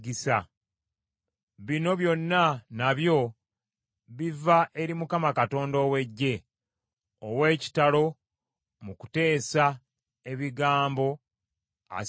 Bino byonna nabyo biva eri Mukama Katonda ow’Eggye, ow’ekitalo mu kuteesa ebigambo, asinga amagezi.